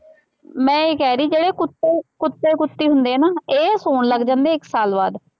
ਮੈਂ ਇਹ ਕਹਿ ਰਹੀ ਜਿਹੜੇ ਕੁੱਤੇ, ਕੁੱਤੇ ਕੁੱਤੀ ਹੁੰਦੇ ਆ ਨਾ, ਇਹ ਹੋਣ ਲੱਗ ਜਾਂਦੇ ਆ ਇੱਕ ਸਾਲ ਬਾਅਦ